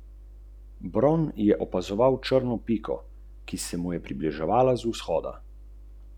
Kot ugotavljajo, trend zbiranja nevarnih odpadkov vseskozi narašča, kar je dokazala tudi oktobrska akcija.